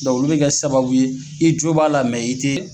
olu bɛ kɛ sababu ye i jo b'a la i tɛ